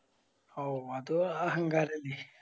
ഓ അത് അഹങ്കാരല്ല